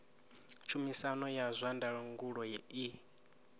tshumisano ya zwa ndangulo i